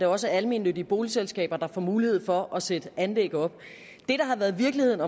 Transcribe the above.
også almennyttige boligselskaber der får mulighed for at sætte anlæg op det der har været virkeligheden